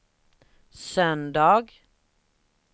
söndag